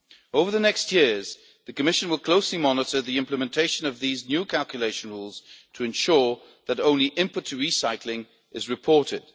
Over the next years, the Commission will closely monitor the implementation of these new calculation rules to ensure that only input to recycling is reported.